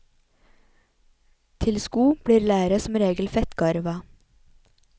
Til sko blir læret som regel fettgarva.